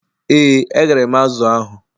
Ee, eghere m azụ̀ ahụ.